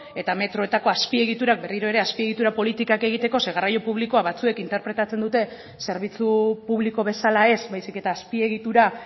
eta metroetako azpiegiturak berriro ere azpiegitura politikak egiteko zeren eta garraio publikoa batzuek interpretatzen dute zerbitzu publiko bezala ez baizik eta azpiegitura